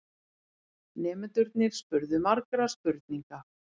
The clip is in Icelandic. Nemendurnir spurðu margra spurninga.